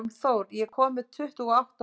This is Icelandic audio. Hólmþór, ég kom með tuttugu og átta húfur!